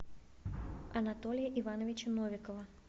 анатолия ивановича новикова